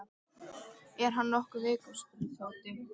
Er hann nokkuð veikur? spurði Tóti.